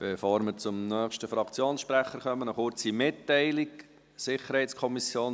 Bevor wir zum nächsten Fraktionssprecher übergehen, noch eine kurze Mitteilung: